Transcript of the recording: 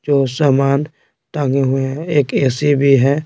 जो सामान टांगे हुए हैं एक एसी भी है।